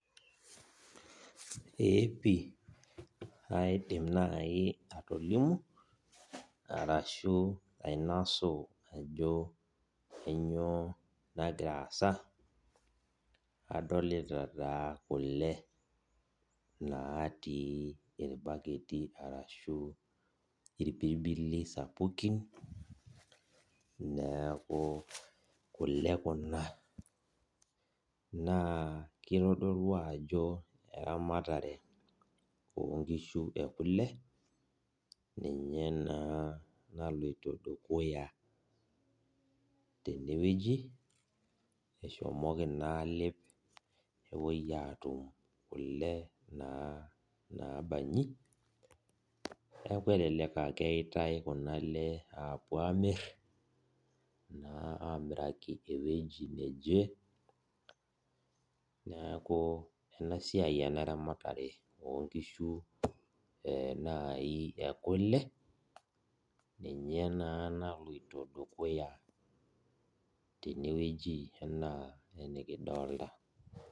Ee pii aidim nai atolimu arashu ainasu ajo kanyio nagira aasa, adolita naa kule natii irbaketi arashu irpibili sapukin neaku kule kuna na kitodolu ajo eramatare onkoshu ekule naninye na naloito dukuya tenewueji eshomoki na alep nepuoi atum kule nabanji neaku kelelek a keyaitae kuna aale apuo amir na amiraki ewueji neje neaku enasia enaramatare onkishunaji ekule ninye na naloito dukuya tenewueji ana enikidolta.